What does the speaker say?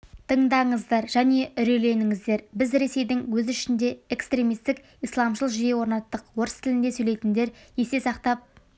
тыңдаңыздар және үрейленіңіздер біз ресейдің өз ішінде экстермистік исламшыл жүйе орнаттық орыс тілінде сөйлейтіндер есте сақтап